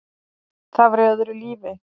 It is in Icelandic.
Það var í öðru lífi.